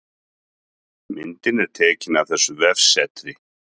Myndin er tekin af þessu vefsetri